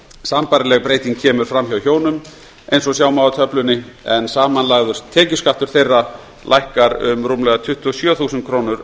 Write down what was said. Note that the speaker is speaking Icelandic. sambærileg breyting kemur fram hjá hjónum eins og sjá má á töflunni en samanlagður tekjuskattur þeirra lækkar um rúmlega tuttugu og sjö þúsund krónur